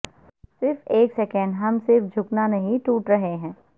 صرف ایک سیکنڈ ہم صرف جھکا نہیں ٹوٹ رہے ہیں